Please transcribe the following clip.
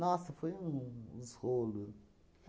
foi um uns rolo.